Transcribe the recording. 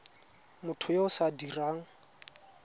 motho yo o sa dirang